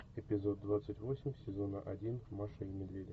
эпизод двадцать восемь сезона один маша и медведи